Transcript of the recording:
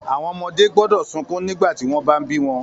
Àwọn ọmọdé gbọ́dọ̀ sunkún nígbà tí wọ́n bá bí wọn